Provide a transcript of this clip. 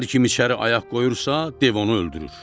Hər kim içəri ayaq qoyursa, dev onu öldürür.